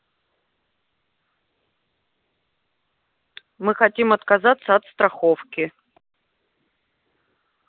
мы хотим отказаться от страховки